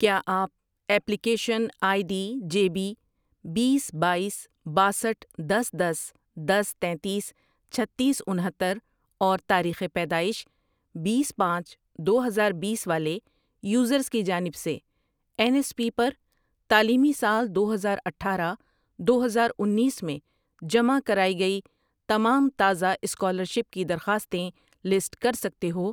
کیا آپ application I D J B, بیس، باییس، باسٹھ ،دس، دس، دس، تینتیس، چھتیس، انہتر اور تاریخ پیدائش بیس، پانچ، دو ہزاربیس والے یوزر کی جانب سے این ایس پی پر تعلیمی سال دو ہزار آٹھارہ ،دو ہزار انیس میں جمع کرائی گئی تمام تازہ اسکالرشپ کی درخواستیں لسٹ کر سکتے ہو